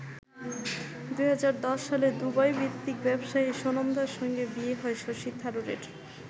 ২০১০ সালে দুবাইভিত্তিক ব্যবসায়ী সুনন্দার সঙ্গে বিয়ে হয় শশী থারুরের।